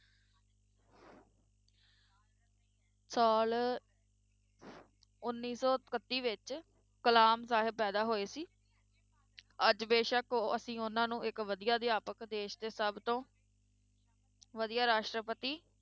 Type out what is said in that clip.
ਸਾਲ ਉੱਨੀ ਸੌ ਇਕੱਤੀ ਵਿੱਚ ਕਲਾਮ ਸਾਹਬ ਪੈਦਾ ਹੋਏ ਸੀ ਅੱਜ ਬੇਸ਼ਕ ਉਹ ਅਸੀਂ ਉਹਨਾਂ ਨੂੰ ਇੱਕ ਵਧੀਆ ਅਧਿਆਪਕ, ਦੇਸ ਦੇ ਸਭ ਤੋਂ ਵਧੀਆ ਰਾਸ਼ਟਰਪਤੀ